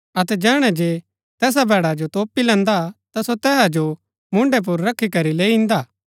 अतै जैहणै जे तैसा भैड़ा जो तोपी लैन्दा ता सो तैसा जो कन्‍हा पुर रखी करी लैई इन्दा